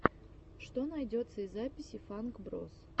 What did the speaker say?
что найдется из записей фанк броз